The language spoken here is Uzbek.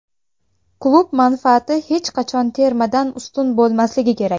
Klub manfaati hech qachon termadan ustun bo‘lmasligi kerak!